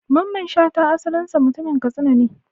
Mamman Shata asalinsa mutumin Katsina ne.